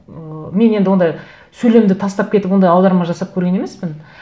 ыыы мен енді ондай сөйлемді тастап кетіп ондай аударма жасап көрген емеспін